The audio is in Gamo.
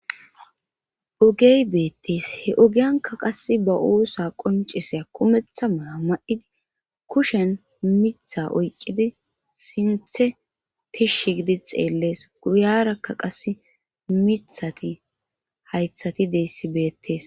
ogey beettees he ogiyanka qas ba oosa qonceseya kumeththa mala ma7idi kushen mitha oyqqidi sinthe tishsh gidi xeellees guyarakka qase mithati haythati deyssi beettees